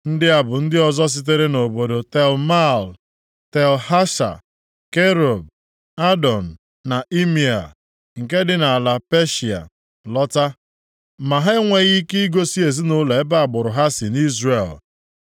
Ndị a bụ ndị ọzọ sitere nʼobodo Tel Mela, Tel Hasha, Kerub, Adọn na Imea, nke dị nʼala Peshịa lọta. Ma ha enweghị ike igosi ezinaụlọ ebe agbụrụ ha si nʼIzrel.